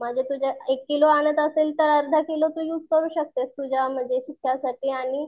म्हणजे तू जर एक किलो आणत असले तर अर्धाकिलो तू युज करू शकतेस तुझ्या म्हणजे सुक्यासाठी आणि